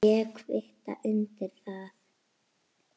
Ég kvitta undir það.